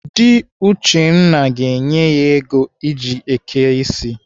Dị Uchenna ga-enye ya ego o ji eke ịsị.